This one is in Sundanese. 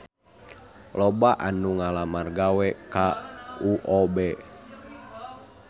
Loba anu ngalamar gawe ka UOB